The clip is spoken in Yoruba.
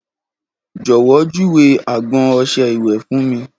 Jọ̀wọ́ júwe agbọn ọṣẹ-ìwẹ̀ fún mi